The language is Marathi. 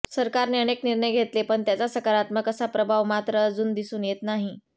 सरकारने अनेक निर्णय घेतले पण त्याचा सकारात्मक असा प्रभाव मात्र अजून दिसून येत नाही